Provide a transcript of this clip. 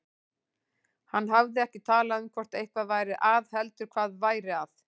Hann hafði ekki talað um hvort eitthvað væri að heldur hvað væri að.